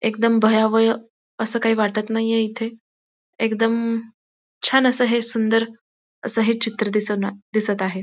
एकदम भयावय असं काही वाटत नाहीये इथे एकदम छान असं हे सुंदर असं हे चित्र दिसना दिसत आहे.